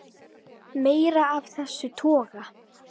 Meira af þessum toga.